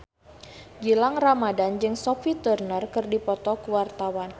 Gilang Ramadan jeung Sophie Turner keur dipoto ku wartawan